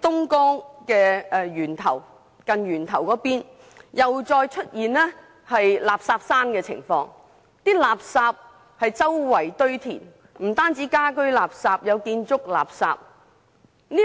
東江源頭附近又再出現垃圾山問題，垃圾四處堆填，當中不但有家居垃圾，還有建築垃圾。